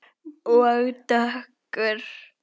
Og dökkur.